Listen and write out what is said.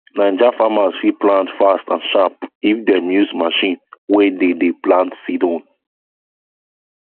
9ja farmers fit plant fast and sharp if dem use machine wey dey dey plant seed own